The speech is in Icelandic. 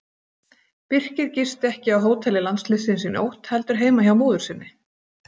Birkir gisti ekki á hóteli landsliðsins í nótt heldur heima hjá móður sinni.